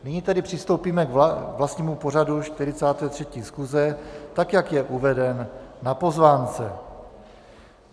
Nyní tedy přistoupíme k vlastnímu pořadu 43. schůze, tak jak je uveden na pozvánce.